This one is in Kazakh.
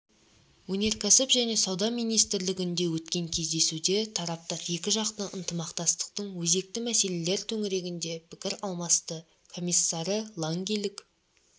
өнеркәсіп және сауда министрлігінде өткен кездесуде тараптар екіжақты ынтымақтастықтың өзекті мәселелер төңірегінде пікір алмасты комиссары лангийлік